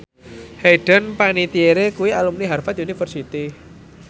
Hayden Panettiere kuwi alumni Harvard university